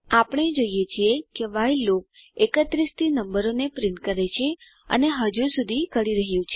આપણે જોઈએ છીએ કે વ્હાઇલ લૂપ 31 થી નંબરોને પ્રિન્ટ કરે છે અને હજુ સુધી કરી રહ્યું છે